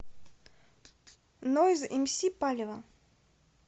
нойз эмси палево